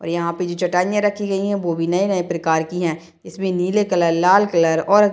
और यहाँ पे जो चटाइयाँ रखी गई हैं वो भी नए-नए प्रकार की है इसमें नीले कलर लाल कलर और --